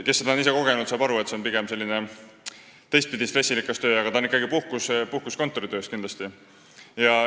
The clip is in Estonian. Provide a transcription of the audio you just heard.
Kes seda ise kogenud on, saab aru, et see on pigem teistpidi stressirikas töö, aga see on kindlasti puhkus kontoritööst.